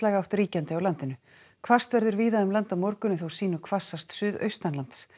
átt ríkjandi á landinu hvasst verður víða um land á morgun en þó sýnu hvassast suðaustanlands